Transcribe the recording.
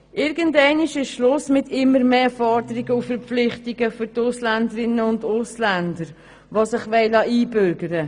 Irgendwann ist Schluss mit immer mehr Forderungen und Verpflichtungen für die Ausländerinnen und Ausländer, die sich einbürgern lassen wollen.